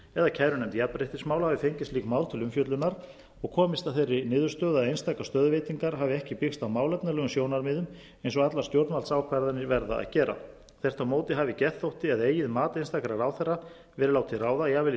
eða kærunefnd jafnréttismála hafi fengið slík mál til umfjöllunar og komist að þeirri niðurstöðu að einstakar stöðuveitingar hafi ekki byggst á málefnalegum sjónarmiðum eins og allar stjórnvaldsákvarðanir verða að gera þvert á móti hafi geðþótti eða eigið mat einstakra ráðherra verið látið ráða jafnvel í